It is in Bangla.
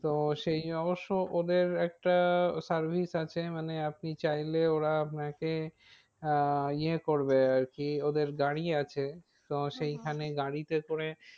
তো সেই অবশ্য ওদের একটা service আছে মানে আপনি চাইলে ওরা আপনাকে। আহ ইয়ে করবে আর কি ওদের গাড়ি আছে। তো সেখানে গাড়িতে করে